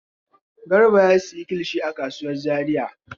Garba ya sayi kilishi a kasuwar Zariya.